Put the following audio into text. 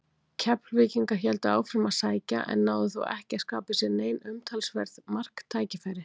Keflvíkingar héldu áfram að sækja en náðu þó ekki að skapa sér nein umtalsverð marktækifæri.